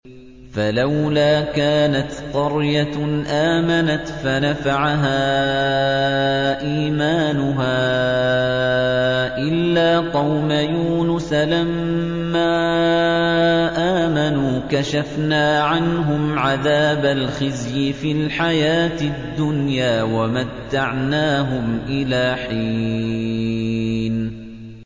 فَلَوْلَا كَانَتْ قَرْيَةٌ آمَنَتْ فَنَفَعَهَا إِيمَانُهَا إِلَّا قَوْمَ يُونُسَ لَمَّا آمَنُوا كَشَفْنَا عَنْهُمْ عَذَابَ الْخِزْيِ فِي الْحَيَاةِ الدُّنْيَا وَمَتَّعْنَاهُمْ إِلَىٰ حِينٍ